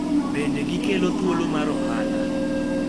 Bende gikelo thuolo mar ohala